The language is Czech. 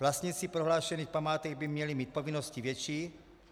Vlastníci prohlášených památek by měli mít povinnost větší.